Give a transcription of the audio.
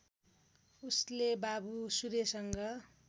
उसले बाबु सूर्यसँग